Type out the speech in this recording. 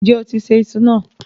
Ǹjẹ́ o ti ṣẹ̀ ìṣù náà?